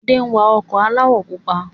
Ade wa ọkọ̀ aláwọ̀ pupa